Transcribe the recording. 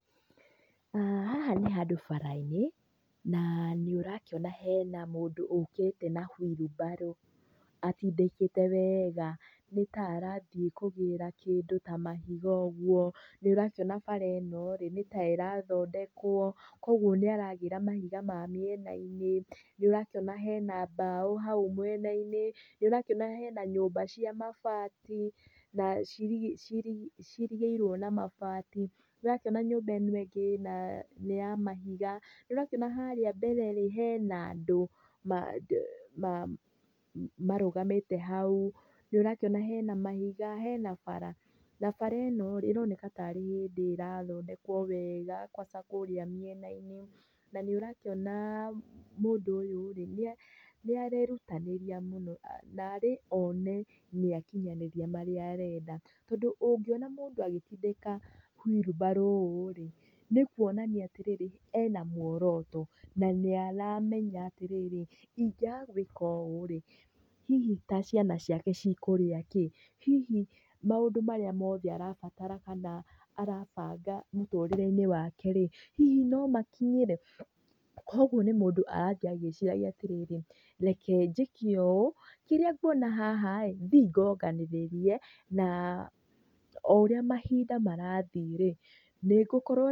Haha nĩ handũ bara-inĩ na nĩ ũrakiona hena mũndũ ũkĩte na wheelbarrow atindĩkĩte wega nĩ ta arathiĩ kũgĩra kĩndũ ta mahiga ũguo. Nĩ ũrakiona bara ĩno nĩ ta ĩrathondekũo, kwoguo nĩ aragĩra mahiga ma mĩena-inĩ. Nĩ ũrakiona hena mbaũ hau mwena-inĩ, nĩ ũrakĩona hena nyũmba cia mabati na ciirigĩirũo na mabati. Nĩ ũrakĩona nyũmba ĩno ĩngĩ ĩna nĩ ya mahiga, nĩ ũrakĩona harĩa mbere hena andũ marũgamĩte hau, nĩ ũrakĩona hena mahiga, hena bara. Na bara ĩno rĩ, ĩroneka tarĩ hĩndĩ ĩrathondekũo wega kwanza kũrĩa mĩenainĩ na nĩ ũrakĩona mũndũ ũyũ nĩ arerutanĩria mũno narĩ one nĩakinyanĩria marĩa arenda. Tondũ ũngĩona mũndũ agĩtindĩka wheelbarrow ũũ rĩ nĩ kuonania atĩrĩrĩ ena muoroto na nĩ aramenya atĩrĩrĩ, ingĩaga gwĩka ũũ rĩ, hihi ta ciana ciake cikũrĩa kĩ, hihi maũndũ marĩa mothe arabatara kana arabanga mũtũrĩreinĩ wake rĩ, hihi no makinyĩre? Kwoguo nĩ mũndũ arathiĩ agĩciragia atĩrĩrĩ, reke njĩke ũũ, kĩrĩa nguona haha rĩ, thiĩ ngonganĩrĩrie na o ũrĩa mahinda marathiĩ rĩ nĩngũkorũo...